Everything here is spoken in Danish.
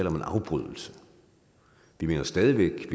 om en afbrydelse vi mener stadig væk at